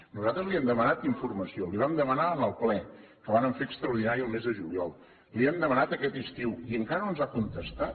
nosaltres li hem demanat informació la hi vam demanar en el ple que vàrem fer extraordinari el mes de juliol la hi hem demanat aquest estiu i encara no ens ha contestat